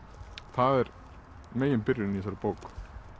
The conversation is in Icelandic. það er megin byrjunin í þessari bók